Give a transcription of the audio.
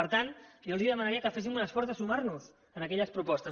per tant jo els demanaria que féssim un esforç de sumar nos a aquelles propostes